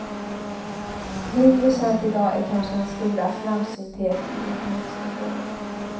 Mindre känt i dag är kanske hans stora framsynthet i ekonomiska frågor.